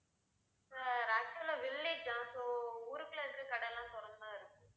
sir actual ஆ village தான் so ஊருக்குள்ள இருக்குற கடை எல்லாம் திறந்து தான் இருக்கு.